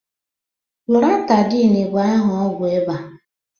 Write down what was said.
loratadin bụ aha ọgwụ ịba